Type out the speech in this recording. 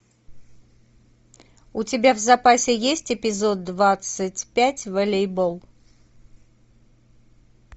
у тебя в запасе есть эпизод двадцать пять волейбол